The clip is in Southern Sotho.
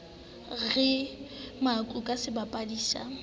re makau ke sebapadi sa